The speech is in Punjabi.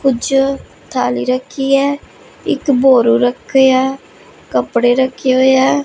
ਕੁੱਛ ਥੈਲੀ ਰੱਖੀ ਹੈ ਇੱਕ ਬੋਰੂ ਰੱਖ ਹੋਇਆ ਹੈ ਕੱਪੜੇ ਰੱਖੇ ਹੋਏ ਹੈਂ।